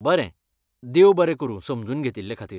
बरें, देव बरें करूं समजून घेतिल्लेखातीर.